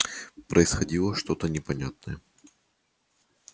происходило что-то непонятное